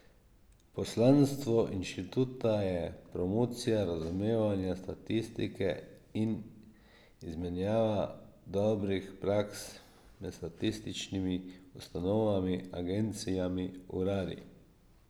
Poslanstvo inštituta je promocija razumevanja statistike in izmenjava dobrih praks med statističnimi ustanovami, agencijami, uradi.